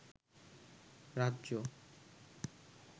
রাজ্য